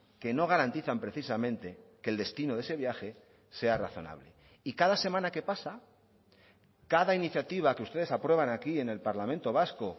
que no garantizan precisamente que el destino de ese viaje sea razonable y cada semana que pasa cada iniciativa que ustedes aprueban aquí en el parlamento vasco